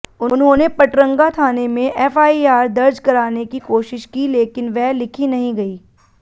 उन्होंने पटरंगा थाने में एफआईआर दर्ज कराने की कोशिश की लेकिन वह लिखी नहीं गई